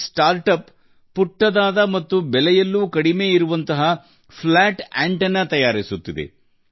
ಈ ನವೋದ್ಯಮ ಚಪ್ಪಟೆ ಆಂಟೆನಾಗಳನ್ನು ತಯಾರಿಸುತ್ತಿದೆ ಅವು ಗಾತ್ರದಲ್ಲಿ ಚಿಕ್ಕದಾಗಿರುತ್ತವೆ ಮಾತ್ರವಲ್ಲ ಅವುಗಳ ವೆಚ್ಚವೂ ತುಂಬಾ ಕಡಿಮೆ